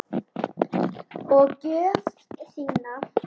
Og gjöf þína.